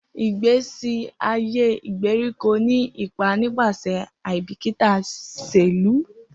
Igbesi aye igberiko ni ipa nipasẹ aibikita iṣelu.